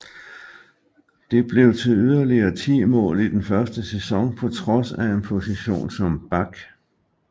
Det blev til yderligere 10 mål i den første sæson på trods af en position som back